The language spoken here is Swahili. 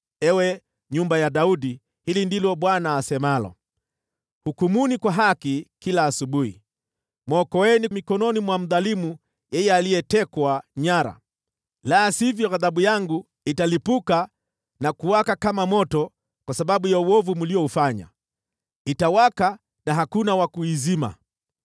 Ewe nyumba ya Daudi, hili ndilo Bwana asemalo: “ ‘Hukumuni kwa haki kila asubuhi, mwokoeni mikononi mwa mdhalimu yeye aliyetekwa nyara, la sivyo ghadhabu yangu italipuka na kuwaka kama moto kwa sababu ya uovu mlioufanya: itawaka na hakuna wa kuizima.